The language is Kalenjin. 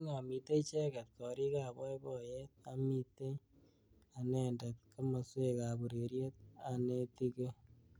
Kingomitei icheget korik ab boiboyet amitei anendet kimoswek ab ureriet anetikei.